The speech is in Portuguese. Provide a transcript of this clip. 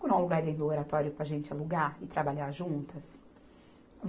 um lugar dentro do Oratório para a gente alugar e trabalhar juntas.